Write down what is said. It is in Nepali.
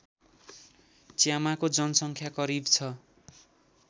च्यामाको जनसङ्ख्या करिब छ